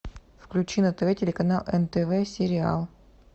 включи на тв телеканал нтв сериал